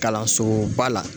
Kalansoba la.